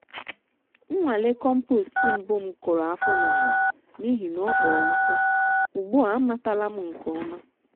nnwale compost mbụ m kụrụ afọ n'ala n'ihi na ọ kpọrọ nkụ - ugbu a amatala m nke ọma.